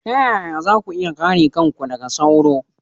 Ta yaya za ku iya kare kanku daga sauro?